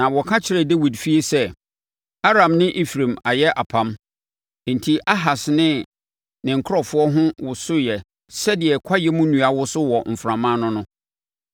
Na wɔka kyerɛɛ Dawid fie sɛ, “Aram ne Efraim ayɛ apam.” Enti Ahas ne ne nkurɔfoɔ ho wosoeɛ sɛdeɛ kwaeɛm nnua woso wɔ mframa ano no.